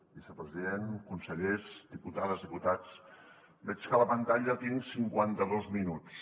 vicepresident consellers diputades diputats veig que a la pantalla tinc cinquanta dos minuts